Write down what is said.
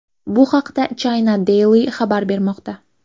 Bu haqda China Daily xabar bermoqda .